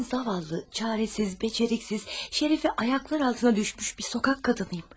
Mən zavallı, çarəsiz, bacarıqsız, şərəfi ayaklar altına düşmüş bir sokak qadınıyım.